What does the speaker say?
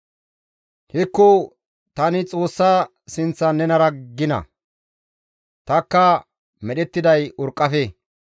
Hekko! Tani Xoossa sinththan nenara gina; tanikka medhettiday urqqafe.